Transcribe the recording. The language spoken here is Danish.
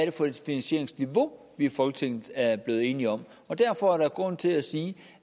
er for et finansieringsniveau folketinget er blevet enige om derfor er der grund til at sige